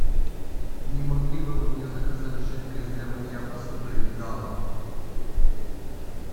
не могли бы вы мне заказать жидкость для мытья посуды гала